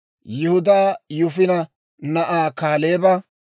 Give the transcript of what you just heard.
Yihudaa Yifune na'aa Kaaleeba;